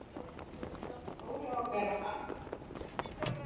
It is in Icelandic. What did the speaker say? Dóri á að vera hann!